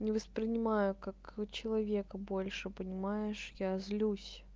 не воспринимаю как человека больше понимаешь я злюсь